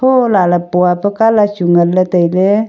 thola le pua colour chu ngan le taile.